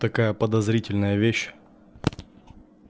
такая подозрительная вещь